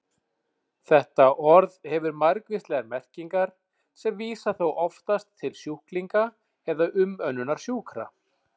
Þetta orð hefur margvíslegar merkingar sem vísa þó oftast til sjúklinga eða umönnunar sjúkra.